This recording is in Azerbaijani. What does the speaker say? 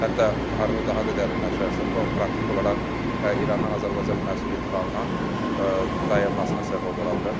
Hətta müharibə daha da dərinləşərsə, bu, praktik olaraq İrandan Azərbaycana məhsul idxalının dayanmasına səbəb ola bilər.